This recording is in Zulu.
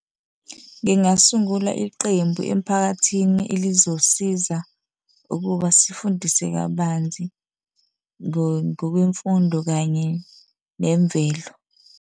Ngingasungula iqembu emphakathini elizosiza ukuba sifundise kabanzi ngokwemfundo kanye nemvelo.